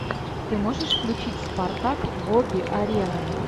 ты можешь включить спартак боги арены